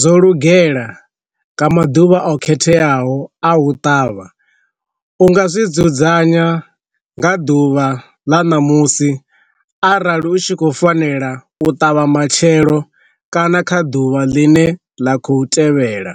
zwo lugela nga maḓuvha o khetheaho a u ṱavha, u nga zwi dzudzanya nga ḓuvha ḽa ṋamusi arali u tshi khou fanela u ṱavha matshelo kana kha ḓuvha ḽine ḽa khou tevhela.